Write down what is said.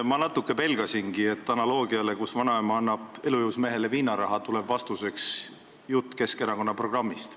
Ma natuke pelgasingi, et analoogiale, kus vanaema annab elujõus mehele viinaraha, tuleb vastuseks jutt Keskerakonna programmist.